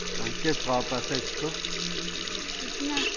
țin acest raport și am votat în favoarea lui.